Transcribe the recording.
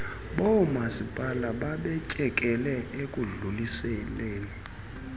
boomasipala babetyekele ekudluliseleni